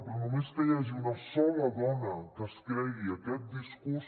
però només que hi hagi una sola dona que es cregui aquest discurs